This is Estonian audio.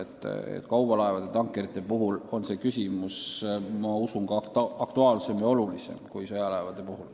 Ma usun, et kaubalaevade ja tankerite korral on see küsimus aktuaalsem ja olulisem kui sõjalaevade puhul.